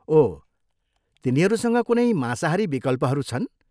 ओह, तिनीहरूसँग कुनै मांसाहारी विकल्पहरू छन्?